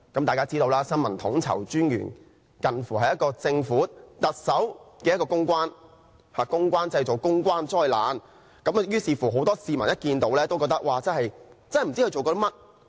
大家知道新聞統籌專員近乎政府和特首的公關，公關製造公關災難，很多市民都不知他在做甚麼。